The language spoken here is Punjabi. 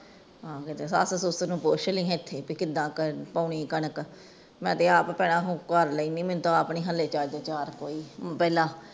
ਹਨ ਕੀਤੇ ਸੱਸ ਸੁਸ ਨੂੰ ਪੁਛ ਲਾਇ ਇਥੇ ਕਿਦਾਂ ਕਰਨੀ ਪੋਣੀ ਕਣਕ ਮੈ ਤੇ ਆਪ ਪਹਿਲਾ ਕਰ ਲੈਨਿ